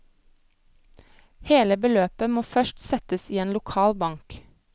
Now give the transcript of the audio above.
Hele beløpet må først settes i en lokal bank.